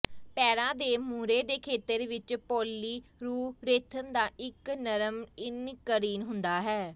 ਪੈਰਾਂ ਦੇ ਮੂਹਰੇ ਦੇ ਖੇਤਰ ਵਿਚ ਪੌਲੀਰੂਰੇਥਨ ਦਾ ਇਕ ਨਰਮ ਇਨਕਰੀਨ ਹੁੰਦਾ ਹੈ